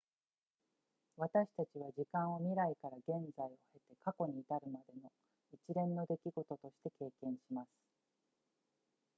私たちは時間を未来から現在を経て過去に至るまでの一連の出来事として経験します